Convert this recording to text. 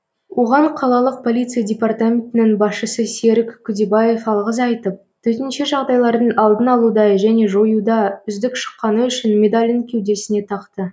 оған қалалық полиция департаментінің басшысы серік күдебаев алғыс айтып төтенше жағдайлардың алдын алуда және жоюда үздік шыққаны үшін медалін кеудесіне тақты